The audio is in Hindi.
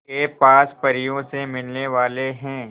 के पास परियों से मिलने वाले हैं